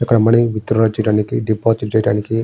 ఇక్కడ money withdraw deposit చేయానికి --